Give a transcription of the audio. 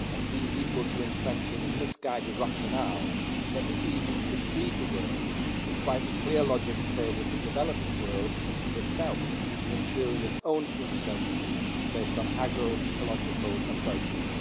and deemed equal to entrenching a misguided rationale that the EU should feed the world, despite the clear logic in favour of the developing world feeding itself and ensuring its own food sovereignty based on agro ecological approaches.